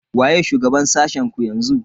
Waye shugaban sashen ku yanzu?